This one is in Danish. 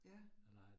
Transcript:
Ja